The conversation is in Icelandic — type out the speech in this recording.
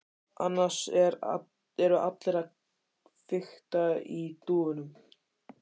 Annars eru allir að fikta í dúfunum.